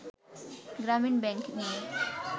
গ্রামীন ব্যাংক নিয়ে